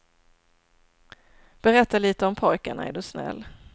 Berätta lite om pojkarna, är du snäll.